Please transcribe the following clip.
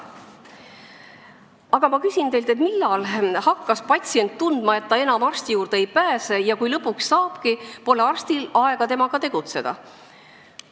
Aga ma küsin teilt, millal hakkas patsient tundma, et ta enam arsti juurde ei pääse ja kui ta lõpuks sinna saabki, siis pole arstil aega temaga tegeleda.